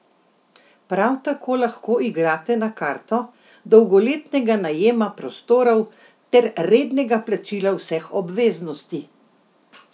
Prav tako lahko igrate na karto dolgoletnega najema prostorov ter rednega plačila vseh obveznosti.